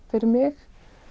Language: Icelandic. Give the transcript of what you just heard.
fyrir mig